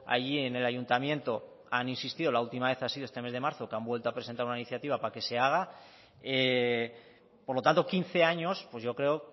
allí en el ayuntamiento han insistido la última vez ha sido este mes de marzo que han vuelto a presentar una iniciativa para que se haga por lo tanto quince años pues yo creo